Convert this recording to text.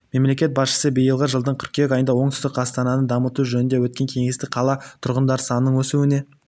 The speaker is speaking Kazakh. мемлекет басшысы биылғы жылдың қыркүйек айында оңтүстік астананы дамыту жөнінде өткен кеңесте қала тұрғындары санының өсуіне